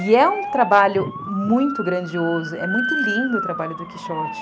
E é um trabalho muito grandioso, é muito lindo o trabalho do Quixote.